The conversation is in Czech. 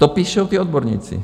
To píší ti odborníci.